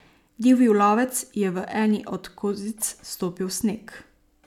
Divji lovec je v eni od kozic stopil sneg.